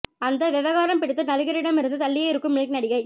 அந்த வெவகாரம் பிடித்த நடிகரிடம் இருந்து தள்ளியே இருக்கும் மில்க் நடிகை